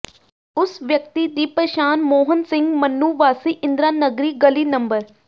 ਉਸ ਵਿਅਕਤੀ ਦੀ ਪਛਾਣ ਮੋਹਨ ਸਿੰਘ ਮਨੂੰ ਵਾਸੀ ਇੰਦਰਾ ਨਗਰੀ ਗਲੀ ਨੰ